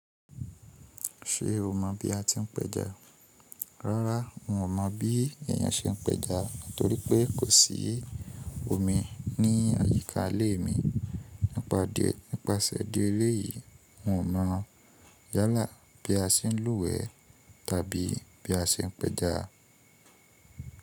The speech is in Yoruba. Ṣé o mọ bí a ti ń pẹja? Rárá, n ò mọ̀ bí èèyàn ṣe ń pẹja nítorí pé kò sí omi ní àyíká ilé mi nípasẹ̀ ìdí èléyìí, n ò mọ̀ yálà bí a ṣe ń lúwẹ̀ẹ́ tàbí bí a ṣe ń pẹja.